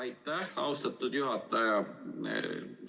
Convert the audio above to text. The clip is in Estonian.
Aitäh, austatud juhataja!